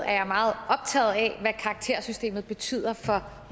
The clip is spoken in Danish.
er jeg meget optaget af hvad karaktersystemet betyder for